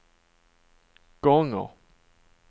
gånger